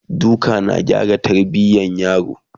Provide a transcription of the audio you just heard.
duka na gyara tarbiyan yaro?